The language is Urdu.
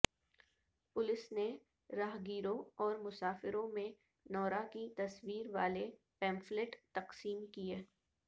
پولیس نے راہ گیروں اور مسافروں میں نورا کی تصویر والے پمفلٹ تقسیم کیے